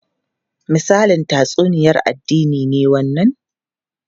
Misalin tatsuniyar addini ne wannan?